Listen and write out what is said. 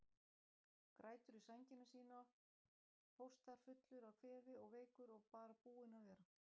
Grætur í sængina þína, hóstar fullur af kvefi og veikur og bara búinn að vera.